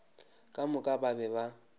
ka moka ba be ba